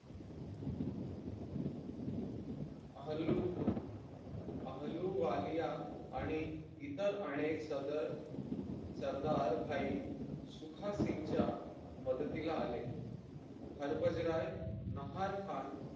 हल्लू हल्लू वालिया आणि इतर अनेक सदर सरदार भाई सुखासिंगच्या यांच्या मदतीला आले हरभजराय नहार खान यांच्या